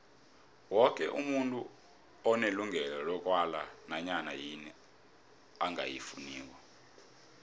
woke umuntu unelungelo lokwala nanyana yini angayifuniko